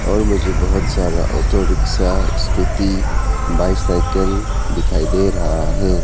और मुझे बहुत सारा ऑटो रिक्शा स्कूटी बाइसाइकिल दिखाई दे रहा है।